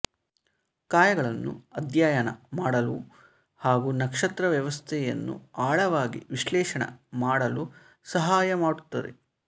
ಕಾಯಗಳನ್ನು ಅಧ್ಯಯನ ಮಾಡಲು ಹಾಗೂ ನಕ್ಷತ್ರ ವ್ಯವಸ್ಥೆಯನ್ನು ಆಳವಾಗಿ ವಿಶ್ಲೇಷಣೆ ಮಾಡಲು ಸಹಾಯ ಮಾಡುತ್ತದೆ